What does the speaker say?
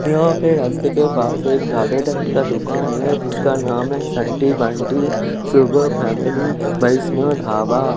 यहाँ पे का दूकान है जिसका नाम है सन्ति बनटी सुपर फैमिली वैष्णोढाबा --